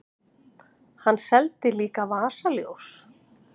Hann seldi líka vasaljós.